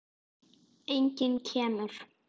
Enginn kemur.